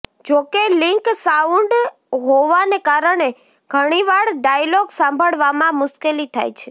જોકે link sound હોવાને કારણે ઘણીવાર ડાયલોગ સાંભળવામાં મુશ્કેલી થાય છે